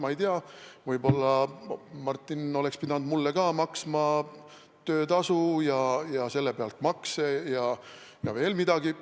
Ma ei tea, võib-olla oleks Martin pidanud mulle ka töötasu maksma ja maksma selle pealt makse ja veel midagi.